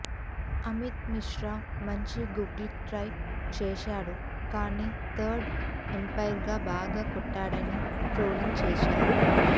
అమిత్ మిశ్రా మంచి googly try చేశాడు కానీ థర్డ్ అంపైర్ బాగా కొట్టాడని ట్రోలింగ్ చేశారు